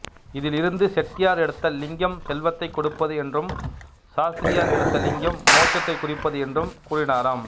இதில் இருந்து செட்டியார் எடுத்த லிங்கம் செல்வத்தைக்கொடுப்பது என்றும் சாஸ்திரியார் எடுத்த லிங்கம் மோட்சத்தைக்குறிப்பது என்றும் கூறினாராம்